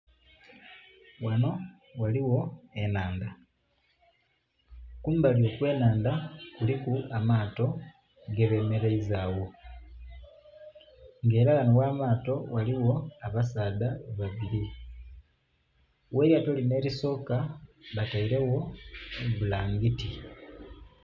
Ghanho ghaligho ennhandha kumbali okwenhandha kuliku amato gebemereiza agho, nga era ghanho gh'amato ghaligho abasaadha babili , gh'lyato linho elisoka batelegho ebbulangiti.